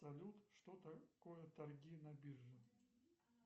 салют что такое торги на бирже